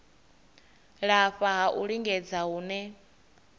lafha ha u lingedza hune